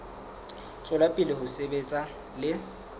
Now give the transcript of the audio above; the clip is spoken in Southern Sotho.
tswela pele ho sebetsa le